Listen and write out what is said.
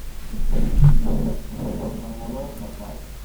Olotangoro orbao